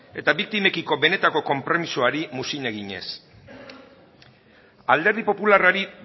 eta biktimekiko benetako konpromisoari muzin eginez alderdi popularrari